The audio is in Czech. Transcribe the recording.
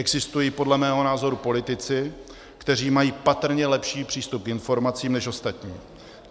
Existují podle mého názoru politici, kteří mají patrně lepší přístup k informacím než ostatní.